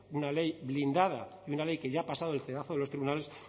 una ley blindada y una ley que ya ha pasado el cedazo de los tribunales